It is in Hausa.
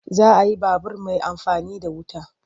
Za a yi babur mai amfani da wuta.